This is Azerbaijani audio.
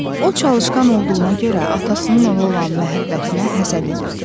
O çalışqan olduğuna görə atasının ona olan məhəbbətinə həsəd edirdi.